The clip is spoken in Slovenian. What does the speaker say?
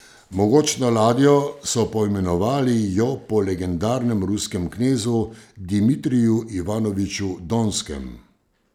Mogočno ladjo so poimenovali jo po legendarnem ruskem knezu, Dimitriju Ivanoviču Donskem.